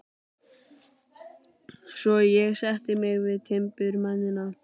Svo ég sætti mig við timburmennina.